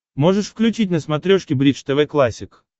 можешь включить на смотрешке бридж тв классик